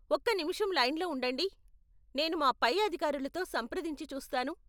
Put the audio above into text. ఒక్క నిమిషం లైన్లో ఉండండి, నేను మా పై అధికారులతో సంప్రదించి చూస్తాను.